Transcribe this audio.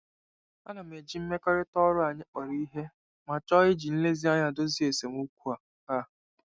Ana m eji mmekọrịta ọrụ anyị kpọrọ ihe ma chọọ iji nlezianya dozie esemokwu a. a.